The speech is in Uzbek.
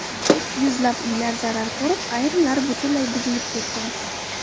Yuzlab uylar zarar ko‘rib, ayrimlari butunlay buzilib ketgan.